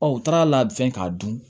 Ɔ u taara fɛn k'a dun